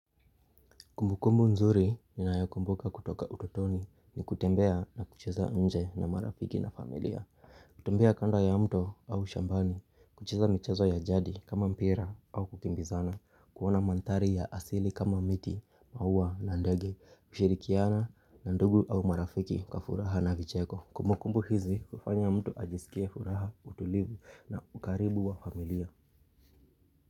Kumbu kumbu nzuri ninayo kumbuka kutoka ututoni ni kutembea na kucheza nje na marafiki na familia. Kutembea kando ya mto au shambani, kucheza mchezo ya jadi kama mpira au kukimbizana, kuona mandhari ya asili kama miti, maua na ndege, kushirikiana na ndugu au marafiki kwa furaha na vicheko. Kumbu kumbu hizi hufanya mtu ajisikie furaha, utulivu na ukaribu wa familia.